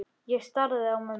Ég starði á mömmu.